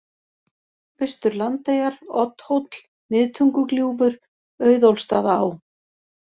Austur-Landeyjar, Oddhóll, Miðtungugljúfur, Auðólfsstaðaá